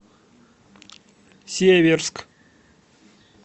северск